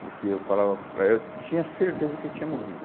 Porque eu falava para ela, eu tinha certeza que eu tinha morrido.